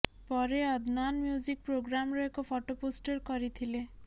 ପରେ ଅଦନାନ୍ ମ୍ୟୁଜିକ ପ୍ରୋଗ୍ରାମର ଏକ ଫଟୋ ପୋଷ୍ଟ କରିଥିଲେ